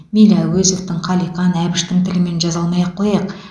мейлі әуезовтің қалиқан әбіштің тілімен жаза алмай ақ қояйық